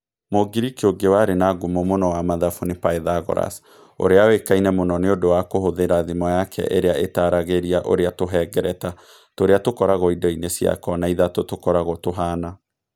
Mũngiriki ũngĩ warĩ na ngumo mũno wa mathabu nĩ Pythagoras, ũrĩa ũikaine mũno nĩ ũndũ wa kũhũthĩra thimo yake ĩrĩa ĩtaragiria ũrĩa tũhengereta tũrĩa tũkoragwo indo-inĩ cia kona ithatũ tũkoragwo tũhaana.